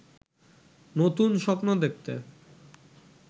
নতুন স্বপ্ন দেখতে